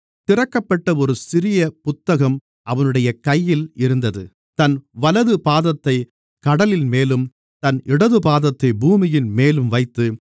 திறக்கப்பட்ட ஒரு சிறிய புத்தகம் அவனுடைய கையில் இருந்தது தன் வலது பாதத்தைக் கடலின்மேலும் தன் இடதுபாதத்தை பூமியின்மேலும் வைத்து